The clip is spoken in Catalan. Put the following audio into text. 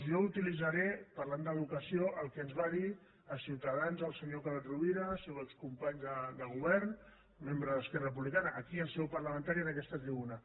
jo utilitzaré parlant d’educació el que ens va dir a ciutadans el senyor carod rovira el seu excompany de govern membre d’esquerra republicana aquí en seu parlamentària en aquesta tribuna